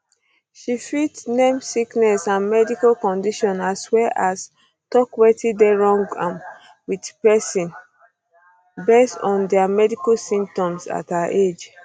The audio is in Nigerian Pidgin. she fit name sicknesses and medical conditions as well as tok wetin dey wrong am with pesin based on dia medical symptoms at her age